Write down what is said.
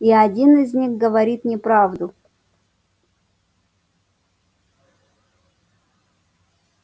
и один из них говорит неправду